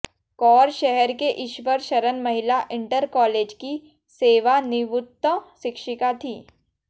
कौर शहर के ईश्वर शरण महिला इंटर कॉलेज की सेवानिवृत्त शिक्षिका थीं